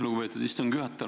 Lugupeetud istungi juhataja!